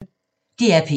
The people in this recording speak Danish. DR P1